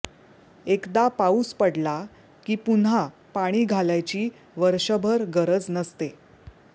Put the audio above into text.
एकदा पाऊस पडला की पुन्हा पाणी घालायची वर्षभर गरज नसते